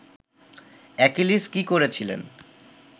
Achilles কী করেছিলেন